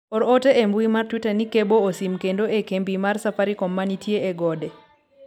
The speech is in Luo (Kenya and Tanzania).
or ote e mbui mar twita ni kebo osim kendo e kembi mar safarikom manitie e gode